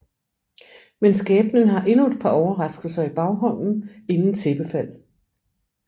Men skæbnen har endnu et par overraskelser i baghånden inden tæppefald